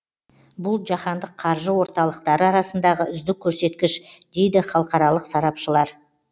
бұл жаһандық қаржы орталықтары арасындағы үздік көрсеткіш дейді халықаралық сарапшылар